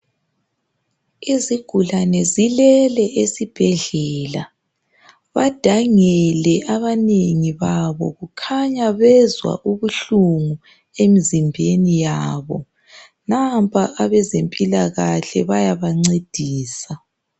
Izigulane zilele esibhedlela badangile abanengi babo, khanya bazwa ubuhlungu emizimbeni yabo. Nampa abezempilakahle bayabanceedisa.